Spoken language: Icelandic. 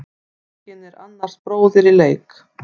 Enginn er annars bróðir í leik.